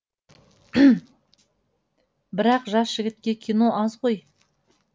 бірақ жас жігітке кино аз ғой